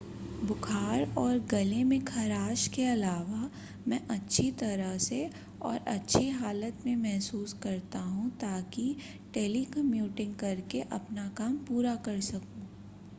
बुखार और गले में खराश के अलावा मैं अच्छी तरह से और अच्छी हालत में महसूस करता हूं ताकि टेलीकम्युटिंग करके अपना काम पूरा कर सकूं